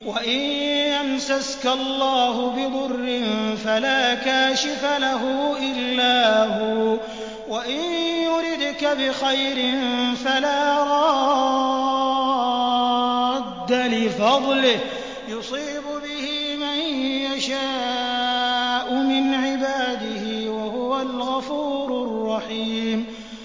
وَإِن يَمْسَسْكَ اللَّهُ بِضُرٍّ فَلَا كَاشِفَ لَهُ إِلَّا هُوَ ۖ وَإِن يُرِدْكَ بِخَيْرٍ فَلَا رَادَّ لِفَضْلِهِ ۚ يُصِيبُ بِهِ مَن يَشَاءُ مِنْ عِبَادِهِ ۚ وَهُوَ الْغَفُورُ الرَّحِيمُ